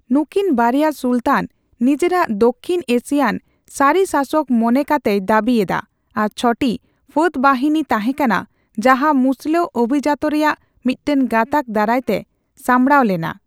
ᱱᱩᱠᱤᱱ ᱵᱟᱨᱭᱟ ᱥᱩᱞᱛᱟᱱ ᱱᱤᱡᱮᱨᱟᱜ ᱫᱚᱠᱷᱤᱱ ᱮᱥᱤᱭᱟᱱ ᱥᱟᱹᱨᱤ ᱥᱟᱥᱚᱠ ᱢᱚᱱᱮ ᱠᱟᱛᱮᱭ ᱫᱟᱹᱵᱤ ᱮᱫᱟ ᱟᱨ ᱪᱷᱚᱴᱤ ᱯᱷᱟᱹᱫᱵᱟᱦᱱᱤ ᱛᱟᱦᱮᱸ ᱠᱟᱱᱟ ᱡᱟᱦᱟᱸ ᱢᱩᱥᱞᱟᱹ ᱟᱵᱷᱤᱡᱟᱹᱛ ᱨᱮᱭᱟᱜ ᱢᱤᱫᱴᱟᱝ ᱜᱟᱛᱟᱠᱚ ᱫᱟᱨᱟᱭ ᱛᱮ ᱥᱟᱢᱵᱲᱟᱣ ᱞᱮᱱᱟ ᱾